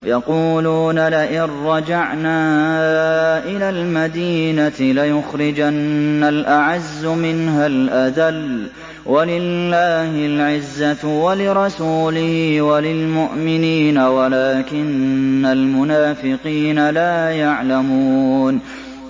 يَقُولُونَ لَئِن رَّجَعْنَا إِلَى الْمَدِينَةِ لَيُخْرِجَنَّ الْأَعَزُّ مِنْهَا الْأَذَلَّ ۚ وَلِلَّهِ الْعِزَّةُ وَلِرَسُولِهِ وَلِلْمُؤْمِنِينَ وَلَٰكِنَّ الْمُنَافِقِينَ لَا يَعْلَمُونَ